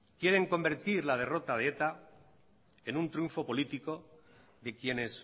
quieren convertir la derrota de eta en un triunfo político de quienes